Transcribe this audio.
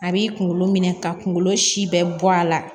A b'i kunkolo minɛ ka kungolo si bɛɛ bɔ a la